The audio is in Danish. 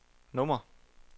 nummer